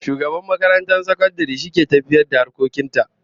Shugaban makarantar sakandare shi ke tafiyar da harkokin ta